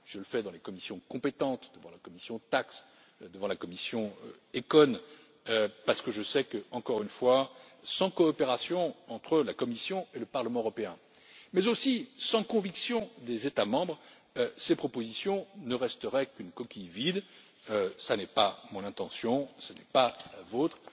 Je le fais dans les commissions compétentes, devant la commission TAXE, devant la commission ECON parce que je sais encore une fois que, sans coopération entre la Commission et le Parlement européen mais aussi sans la conviction des États membres, ces propositions ne resteraient qu'une coquille vide. Cela n'est ni mon intention ni la